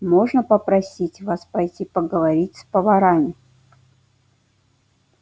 можно попросить вас пойти поговорить с поварами